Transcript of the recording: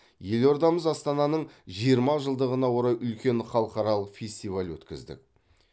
елордамыз астананың жиырма жылдығына орай үлкен халықаралық фестиваль өткіздік